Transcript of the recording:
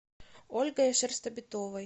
ольгой шерстобитовой